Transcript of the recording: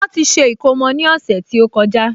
Wọ́n ti ṣe ìkómọ ní ọ̀sẹ̀ tó kọjá